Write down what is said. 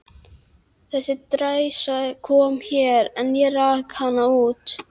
Þessi dræsa kom hér, en ég rak hana út.